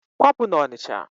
Kwapụ n'Ọnịcha!